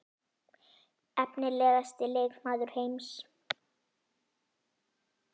Efnilegasti leikmaður heims?